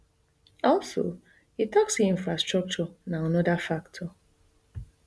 also e tok say infrastructure na anoda factor